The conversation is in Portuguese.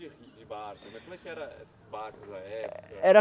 de barco. Mas como é que eram esses barcos na época. Era